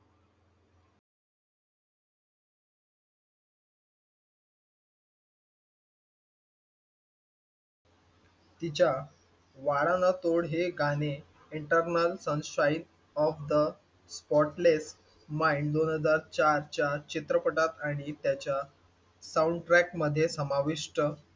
तिच्या वादा ना तोड हे गाणे eternal sunshine of the spotless mind दोन हजार चारच्या चित्रपटात आणि त्याच्या साउंडट्रॅक मध्ये समाविष्ट,